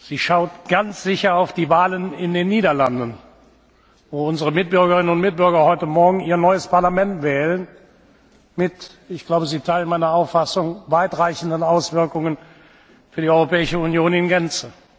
Sie schaut ganz sicher auf die Wahlen in den Niederlanden, wo unsere Mitbürgerinnen und Mitbürger heute Morgen ihr neues Parlament wählen mit ich glaube, Sie teilen meine Auffassung weit reichenden Auswirkungen für die Europäische Union in Gänze.